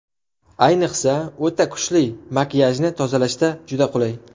Ayniqsa, o‘ta kuchli makiyajni tozalashda juda qulay.